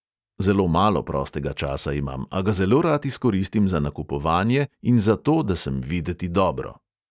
Zelo malo prostega časa imam, a ga zelo rad izkoristim za nakupovanje in za to, da sem videti dobro.